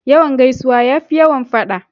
Yawan gaisuwa ya fi yawan faɗa.